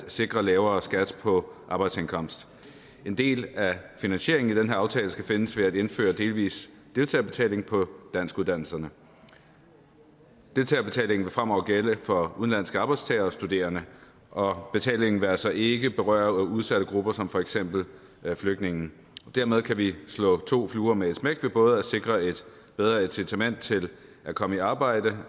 at sikre lavere skat på arbejdsindkomst en del af finansieringen til den her aftale skal findes ved at indføre delvis deltagerbetaling på danskuddannelserne deltagerbetalingen vil fremover gælde for udenlandske arbejdstagere og studerende og betalingen vil altså ikke berøre udsatte grupper som for eksempel flygtninge dermed kan vi slå to fluer med et smæk ved både at sikre et bedre incitament til at komme i arbejde